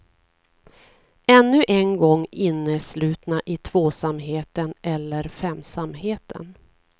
Ännu en gång inneslutna i tvåsamheten, eller femsamheten.